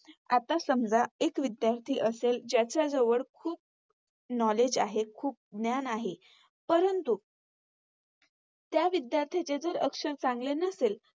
आता समजा एक विध्यार्थी असेल जाच्याजवळ खुप Knowledge आहे, खुप ज्ञान आहे. परंतु त्या विधायर्थ्याचे अक्षर चांगले नसेल